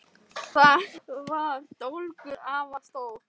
Þar var dólgur, afar stór